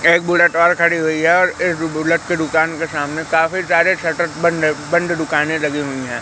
एक बुलेट और खड़ी हुई है और एक बुलेट की दुकान के सामने काफी सारे शटर बंद है बंद दुकाने लगी हुई है।